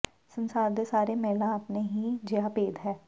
ਸੰਸਾਰ ਦੇ ਸਾਰੇ ਮਹਿਲਾ ਆਪਣੇ ਹੀ ਜਿਹਾ ਭੇਦ ਹੈ